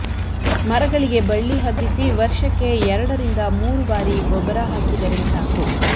ಮರಗಳಿಗೆ ಬಳ್ಳಿ ಹಬ್ಬಿಸಿ ವರ್ಷಕ್ಕೆ ಎರಡರಿಂದ ಮೂರು ಬಾರಿ ಗೊಬ್ಬರ ಹಾಕಿದರೆ ಸಾಕು